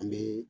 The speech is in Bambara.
An bɛ